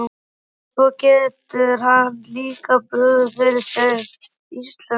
Og svo getur hann líka brugðið fyrir sig íslensku!